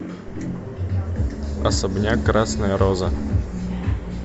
особняк красная роза